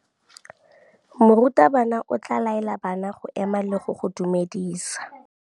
Morutabana o tla laela bana go ema le go go dumedisa.